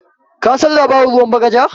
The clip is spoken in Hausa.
Kasan labarin ruwan bagaja?